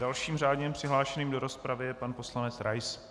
Dalším řádně přihlášeným do rozpravy je pan poslanec Rais.